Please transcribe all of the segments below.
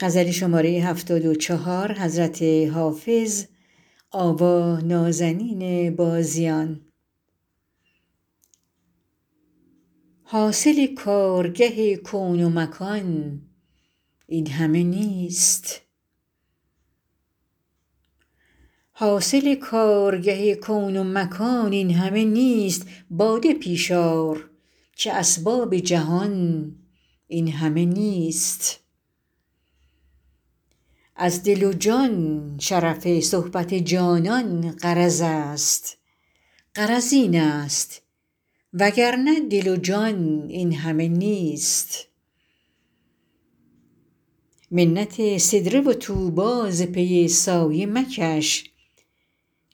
حاصل کارگه کون و مکان این همه نیست باده پیش آر که اسباب جهان این همه نیست از دل و جان شرف صحبت جانان غرض است غرض این است وگرنه دل و جان این همه نیست منت سدره و طوبی ز پی سایه مکش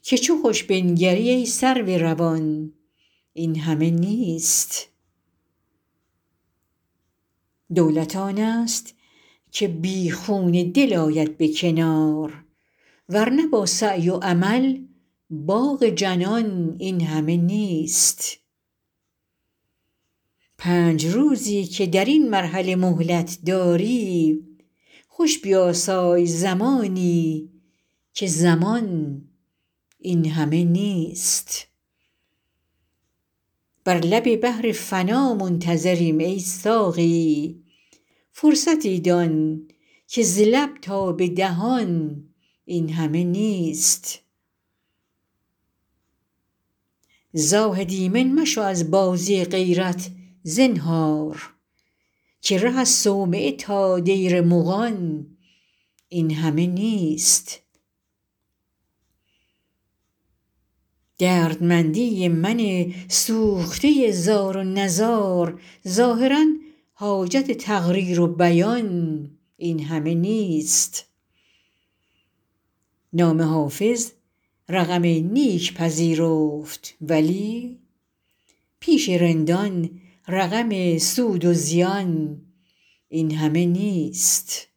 که چو خوش بنگری ای سرو روان این همه نیست دولت آن است که بی خون دل آید به کنار ور نه با سعی و عمل باغ جنان این همه نیست پنج روزی که در این مرحله مهلت داری خوش بیاسای زمانی که زمان این همه نیست بر لب بحر فنا منتظریم ای ساقی فرصتی دان که ز لب تا به دهان این همه نیست زاهد ایمن مشو از بازی غیرت زنهار که ره از صومعه تا دیر مغان این همه نیست دردمندی من سوخته زار و نزار ظاهرا حاجت تقریر و بیان این همه نیست نام حافظ رقم نیک پذیرفت ولی پیش رندان رقم سود و زیان این همه نیست